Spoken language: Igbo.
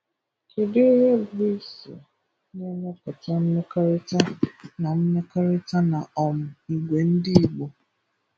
Kèdụ̀ íhè bụ̀ ísì nà-émépụ̀tà mmékọ̀rị̀tà nà mmékọ̀rị̀tà nà um ígwè ndị́ Ìgbò?